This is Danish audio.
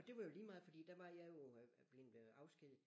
Og det var jo lige meget fordi der var jeg jo øh bleven afskediget